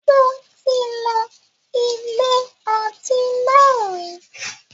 Mo ti lọ ilé ọtí náà rí.